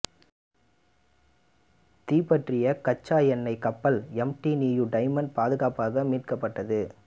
தீப்பற்றிய கச்சா எண்ணெய் கப்பல் எம் டி நியூ டைமண்ட் பாதுகாப்பாக மீட்கப்பட்டது